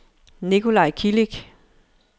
Nicolaj Kilic